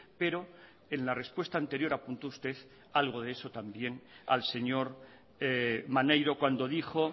pero en la respuesta anterior apuntó usted algo de eso también al señor maneiro cuando dijo